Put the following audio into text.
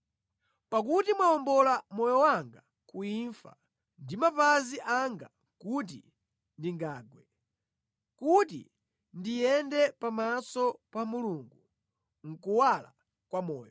Pakuti mwawombola moyo wanga ku imfa ndi mapazi anga kuti ndingagwe, kuti ndiyende pamaso pa Mulungu mʼkuwala kwa moyo.